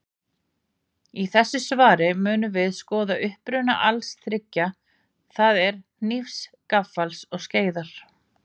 Í þessu svari munum við skoða uppruna allra þriggja, það er hnífs, gaffals og skeiðar.